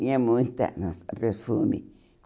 Tinha muita lança-perfume.